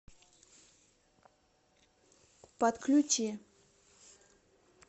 подключи